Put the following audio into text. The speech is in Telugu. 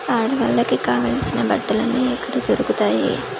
ఆడ వాళ్ళకి కావలసిన బట్టలు అన్నీ ఇక్కడ దొరుకుతాయి .